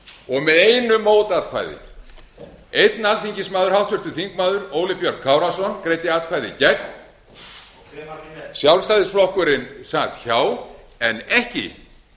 og með einu mótatkvæði einn alþingismaður háttvirtur þingmaður óli björn kárason greiddi atkvæði gegn sjálfstæðisflokkurinn sat hjá en ekki